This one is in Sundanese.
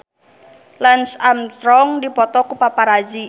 Lance Armstrong dipoto ku paparazi